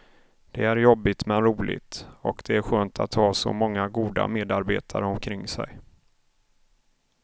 Det är jobbigt men roligt, och det är skönt att ha så många goda medarbetare omkring sig.